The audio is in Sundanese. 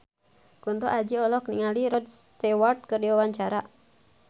Kunto Aji olohok ningali Rod Stewart keur diwawancara